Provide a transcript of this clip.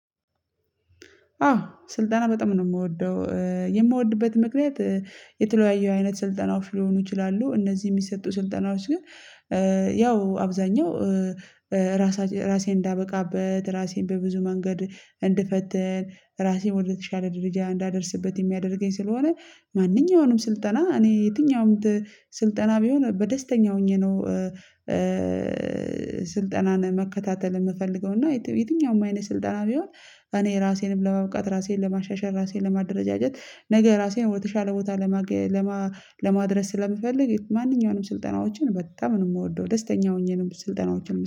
አዎ ስልጠና በጣም ነው የምወደው የምወድበት ምክንያት የተለያዩ አይነት ስልጠናዎች ሊሆኑ ይችላሉ እነዚህ የሚሰጡ ስልጠናዎች ግን ያው አብዛኛው ራሴ ራሴ እንዳበቃበት ራሴን በብዙ መንገድ እንድፈትን ራሴን ወደተሻለ ደረጃ እንዳደርስበት የሚያደርገኝ ስለሆነ ማንኛውንም ስልጠና እኔ የትኛውም ስልጠና ቢሆን በደስተኛ ሆኜ ነው። ስልጠናን መከታተል የምፈልገው እና የትኛውም አይነት ስልጠና ቢሆን እኔ ራሴንም ለማብቃት ራሴን ለማሻሻል ራሴን ለማደረጃጀት ነገ ራሴን ወደተሻለ ቦታ ለማድረስ ስለምፈልግ ማንኛውንም ስልጠናዎችን በጣም ነው የምወደው ደስተኛ ሆኜንም ስልጠናዎችን